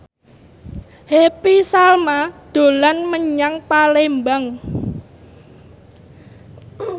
Happy Salma dolan menyang Palembang